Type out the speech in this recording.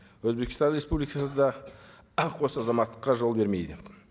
өзбекстан республикасы да қос азаматтыққа жол бермейді